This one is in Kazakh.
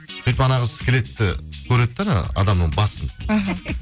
сөйтіп қыз келеді де көреді де адамның басын іхі